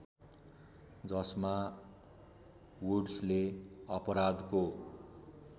जसमा वुड्सले अपराधको